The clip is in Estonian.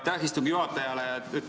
Aitäh istungi juhatajale!